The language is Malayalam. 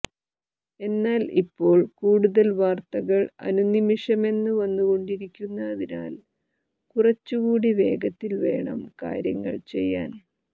എന്നാൽ ഇപ്പോൾ കൂടുതൽ വാർത്തകൾ അനുനിമിഷമെന്ന വന്നുകൊണ്ടിരിക്കുന്നതിനാൽ കുറച്ചുകൂടി വേഗത്തിൽ വേണം കാര്യങ്ങൾ ചെയ്യാൻ